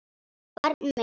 Barn mitt.